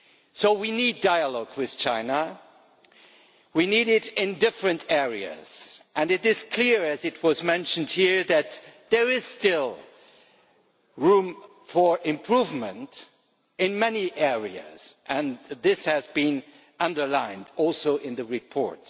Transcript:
So we need dialogue with China. We need it in different areas and it is clear, as was mentioned here, that there is still room for improvement in many areas. That was also underlined in the report.